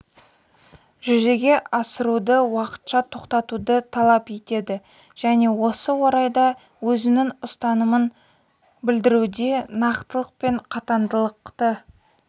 жүзеге асыруды уақытша тоқтатуды талап етеді және осы орайда өзінің ұстанымын білдіруде нақтылық пен қатаңдықты